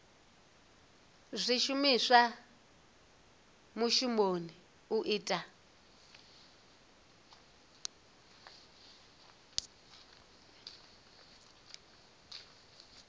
zwishumiswa zwa mushumoni u ita